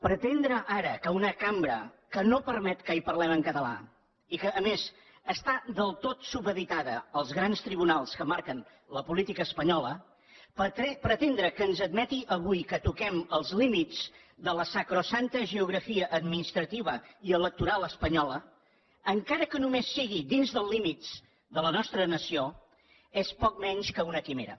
pretendre ara que una cambra que no permet que hi parlem en català i que a més està del tot supeditada als grans tribunals que marquen la política espanyola pretendre que ens admeti avui que toquem els límits de la sacrosanta geografia administrativa i electoral espanyola encara que només sigui dins dels límits de la nostra nació és poc menys que una quimera